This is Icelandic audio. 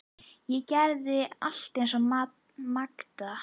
Ég gerði allt eins og Magda.